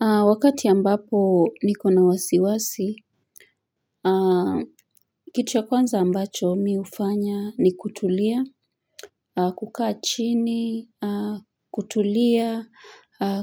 Wakati ya ambapo niko na wasiwasi kitu ya kwanza ambacho mi hufanya ni kutulia, kukaa chini, kutulia,